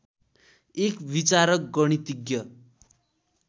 एक विचारक गणितीज्ञ